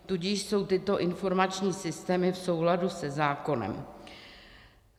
Tudíž jsou tyto informační systémy v souladu se zákonem.